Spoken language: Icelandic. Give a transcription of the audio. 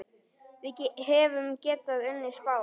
Við hefðum getað unnið Spán.